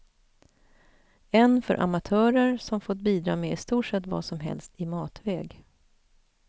En för amatörer, som fått bidra med i stort sett vad som helst i matväg.